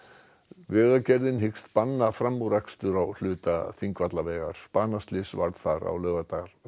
vegagerðin hyggst banna framúrakstur á hluta Þingvallavegar banaslys varð þar á laugardag